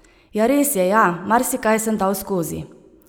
Ja res je ja, marsikaj sem dal skozi.